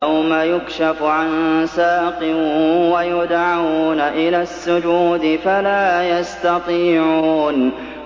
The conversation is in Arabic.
يَوْمَ يُكْشَفُ عَن سَاقٍ وَيُدْعَوْنَ إِلَى السُّجُودِ فَلَا يَسْتَطِيعُونَ